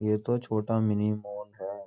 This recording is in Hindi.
ये तो छोटा मिनी मोल है ।